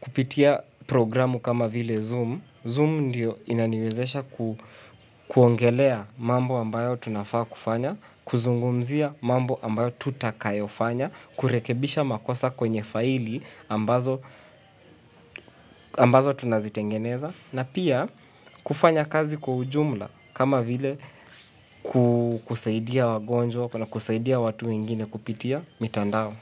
kupitia programu kama vile Zoom. Zoom ndio inaniwezesha kuongelea mambo ambayo tunafaa kufanya, kuzungumzia mambo ambayo tutakayo fanya, kurekebisha makosa kwenye faili ambazo ambazo tunazitengeneza. Na pia kufanya kazi kwa ujumla kama vile kusaidia wagonjwa na kusaidia watu wengine kupitia mitandao.